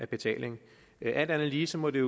betaling alt andet lige må det